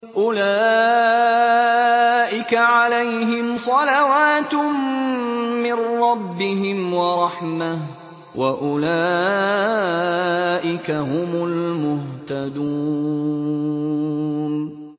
أُولَٰئِكَ عَلَيْهِمْ صَلَوَاتٌ مِّن رَّبِّهِمْ وَرَحْمَةٌ ۖ وَأُولَٰئِكَ هُمُ الْمُهْتَدُونَ